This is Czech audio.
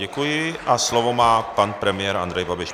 Děkuji a slovo má pan premiér Andrej Babiš.